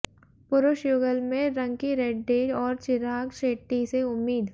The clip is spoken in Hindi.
पुरुष युगल में रंकीरेड्डी और चिराग शेट्टी से उम्मीद